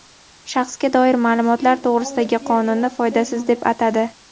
"Shaxsga doir ma’lumotlar to‘g‘risida"gi qonunni foydasiz deb atadi.